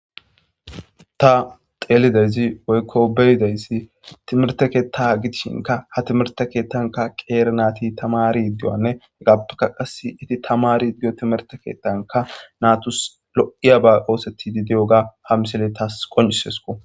Ta xeelidayzi woykko beyidayssi timirte keetta gidishinka ha timirte keettanka qeere naati tamari ddiwanne hegappeka qas iti tamari diyo timerte keettanka naatus lo7iya ba ooseti di diyoga ha misele taas qoncisesko